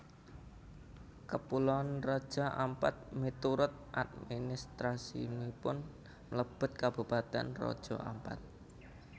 Kapuloan Raja Ampat miturut administrasipun mlebet Kabupatèn Raja Ampat